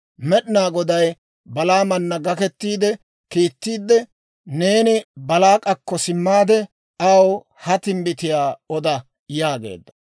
Med'inaa Goday Balaamana gakettiide kiittiidde, «Neeni Baalaak'akko simmaade, aw ha timbbitiyaa oda» yaageedda.